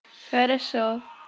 хорошо